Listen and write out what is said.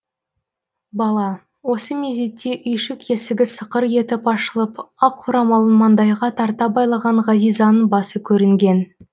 бала осы мезетте үйшік есігі сықыр етіп ашылып ақ орамалын маңдайға тарта байлаған ғазизаның басы көрінген